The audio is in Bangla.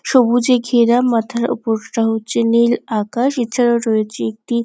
সবুজে ঘেরা মাথার উপরটা হচ্ছে নীল আকাশ এছাড়া রয়েছে একটি--